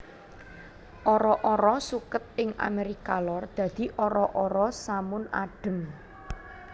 Ara ara suket ing Amérika Lor dadi ara ara samun adhem